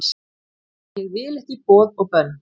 Ég vil ekki boð og bönn